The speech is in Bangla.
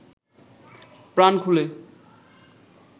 প্রাণ খুলে